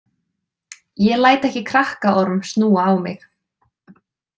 Ég læt ekki krakkaorm snúa á mig.